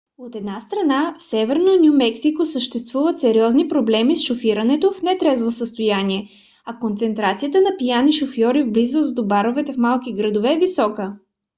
от една страна в северно ню мексико съществуват сериозни проблеми с шофирането в нетрезво състояние а концентрацията на пияни шофьори в близост до баровете в малките градове е висока